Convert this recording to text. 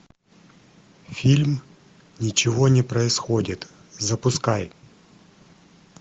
фильм ничего не происходит запускай